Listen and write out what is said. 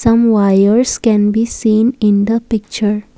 some wires can be seen in the picture.